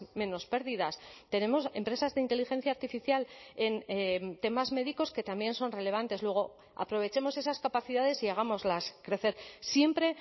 menos pérdidas tenemos empresas de inteligencia artificial en temas médicos que también son relevantes luego aprovechemos esas capacidades y hagámoslas crecer siempre